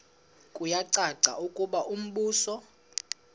kuyacaca ukuba umbuso